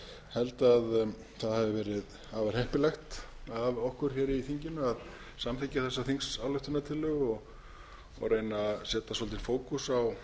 held að það hafi verið afar heppilegt af okkur í þinginu að samþykkja þessa þingsályktunartillögu og reyna að setja svolítinn fókus á